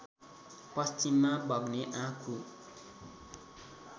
पश्चिममा बग्ने आँखु